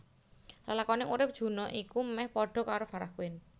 Lelakoning urip Juna iku meh padha karo Farah Quinn